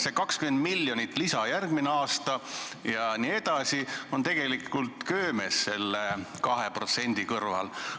See 20 miljonit lisa järgmine aasta jne on tegelikult köömes selle 2% kõrval.